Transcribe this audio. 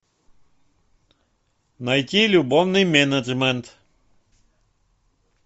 найти любовный менеджмент